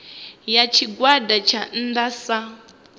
ya tshigwada tsha nnda sa